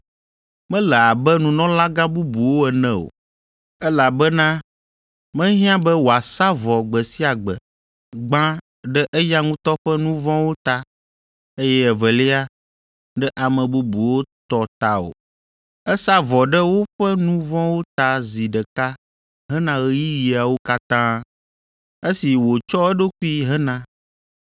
Mele abe nunɔlagã bubuwo ene o, elabena mehiã be wòasa vɔ gbe sia gbe, gbã ɖe eya ŋutɔ ƒe nu vɔ̃wo ta, eye evelia, ɖe ame bubuwo tɔ ta o. Esa vɔ ɖe woƒe nu vɔ̃wo ta zi ɖeka hena ɣeyiɣiawo katã, esi wòtsɔ eɖokui hena.